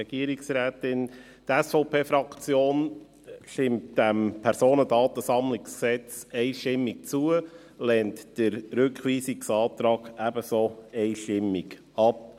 Die SVP-Fraktion stimmt dem PDSG einstimmig zu und lehnt den Rückweisungsantrag ebenso einstimmig ab.